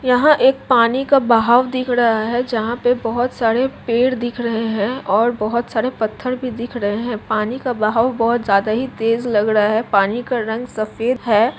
यह एक पानी का बहाव दिख रहा है है जहाँ पे बहुत सारे पेड़ दिख रहै है और बहुत सारे पत्थर दिख रहे है पानी का बहाव बहुत ज्यादा ही तेज़ लग रहा है पानी का रंग सफ़ेद है।